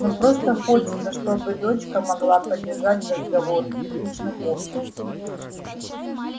но просто хочется чтобы дочка могла поддержать разговор в приличном обществе